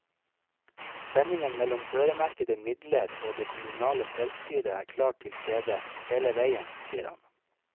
Spenningen mellom øremerkede midler og det kommunale selvstyret er klart tilstede, hele veien, sier han.